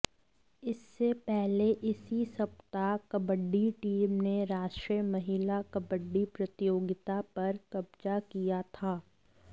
इससे पहले इसी सप्ताह कबड्डी टीम ने राष्ट्रीय महिला कबड्डी प्रतियोगिता पर कब्जा किया था